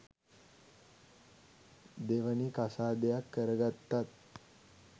දෙවනි කසාදයක් කරගත්තත්